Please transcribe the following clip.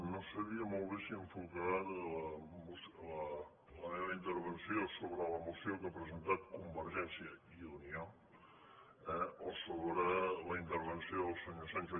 no sabia molt bé si enfocar la meva intervenció sobre la moció que ha presentat convergència i unió eh o sobre la intervenció del senyor sancho